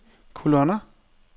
kolonner